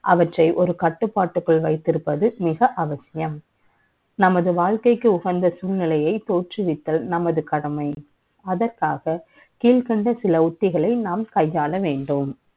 அவற்றை ஒரு கட்டுப்பாட்டுக்குள் வைத்திருப்பது மிக அவசியம் நமது வாழ்க்கைக்கு உகந்த சூழ்நிலை தோற்றுவித்தல் நமது கடமை அதற்காக கீழ்கண்ட சில உத்திகளை நாம் கையாள வேண்டும்